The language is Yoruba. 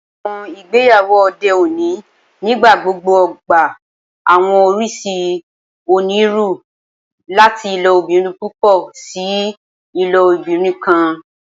Awọn igbeyawo ode oni nigbagbogbo gba awọn oriṣi oniruuru, lati ilobirin pupọ si ilobirin kan.